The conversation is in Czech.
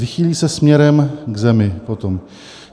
Vychýlí se směrem k zemi potom.